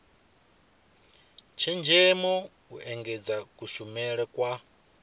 tshenzhemo u engedza kushumele kwa